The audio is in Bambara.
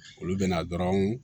Olu bɛna dɔrɔn